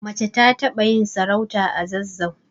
Mace ta taɓa yin sarauta a zazzau